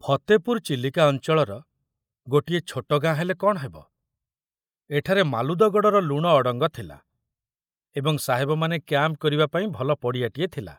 ଫତେପୁର ଚିଲିକା ଅଞ୍ଚଳର ଗୋଟିଏ ଛୋଟ ଗାଁ ହେଲେ କଣ ହେବ, ଏଠାରେ ମାଲୁଦଗଡ଼ର ଲୁଣ ଅଡ଼ଙ୍ଗ ଥିଲା ଏବଂ ସାହେବମାନେ କ୍ୟାମ୍ପ କରିବା ପାଇଁ ଭଲ ପଡ଼ିଆଟିଏ ଥିଲା।